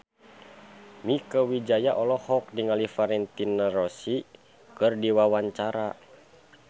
Mieke Wijaya olohok ningali Valentino Rossi keur diwawancara